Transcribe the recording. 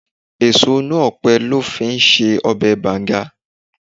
Èso inú ọpẹ lọ fi í ṣe ọbẹ̀ banga.